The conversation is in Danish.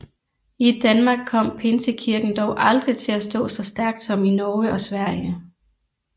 I Danmark kom Pinsekirken dog aldrig til at stå så stærkt som i Norge og Sverige